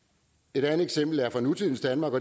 et andet eksempel er fra nutidens danmark